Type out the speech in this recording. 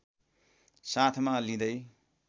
साथमा लिँदै